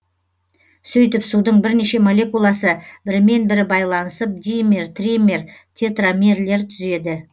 сөйтіп судың бірнеше молекуласы бірімен бірі байланысып димер тример тетрамерлер түзеді